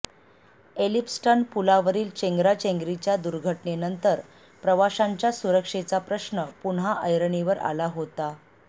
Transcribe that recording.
Elphinstone पुलावरील चेंगराचेंगरीच्या दुर्घटनेनंतर प्रवाशांच्या सुरक्षेचा प्रश्न पुन्हा ऐरणीवर आला होता